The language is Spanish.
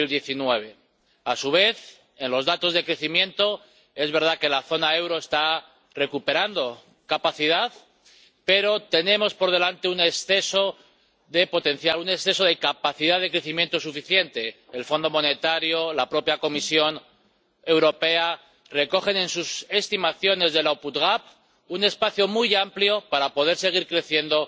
2019. A su vez, según los datos de crecimiento, es verdad que la zona del euro está recuperando capacidad, pero tenemos por delante un exceso de potencial, un exceso de capacidad de crecimiento suficiente el Fondo Monetario, la propia Comisión Europea recogen en sus estimaciones del output gap un espacio muy amplio para poder seguir creciendo